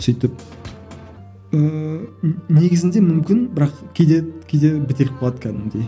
сөйтіп ммм негізінде мүмкін бірақ кейде кейде бітеліп қалады кәдімгідей